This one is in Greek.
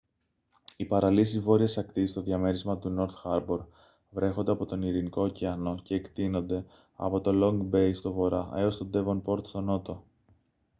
οι παραλίες της βόρειας ακτής στο διαμέρισμα του νορθ χάρμπορ βρέχονται από τον ειρηνικό ωκεανό και εκτείνονται από το λονγκ μπέι στον βορρά έως το ντέβονπορτ στον νότο